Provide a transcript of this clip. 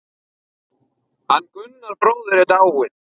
Hann Gunnar bróðir er dáinn.